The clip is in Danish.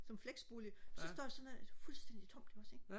som flexbolig så står sådan noget fuldstændig tomt ikke også ikke